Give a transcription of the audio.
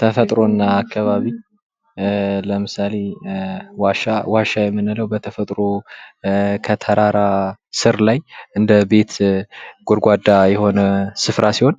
ተፈጥሮና አካባቢ ለምሳሌ ዋሻ ዋሻ የምንለው በተፈጥሮ ከተራራ ስር ላይ እንደቤት ጎድጓዳ የሆነ ስፍራ ሲሆን